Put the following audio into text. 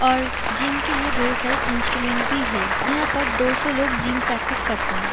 और जिम के लिए ढेर सारे इंस्ट्रूमेंट भी हे यहाँ पर दो सौ लोग जिम प्रैक्टिस करता हे।